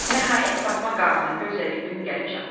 Nəhayət Fatma qarının gözlədiyi gün gəlib çatdı.